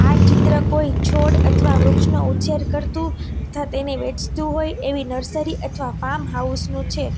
આ ચિત્ર કોઈ છોડ અથવા વૃક્ષનો ઉછેર કરતુ થાત એને વેચતું હોય એવી નર્સરી અથવા ફાર્મ હાઉસ નું છે.